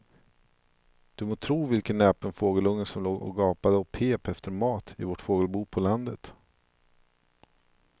Du må tro vilken näpen fågelunge som låg och gapade och pep efter mat i vårt fågelbo på landet.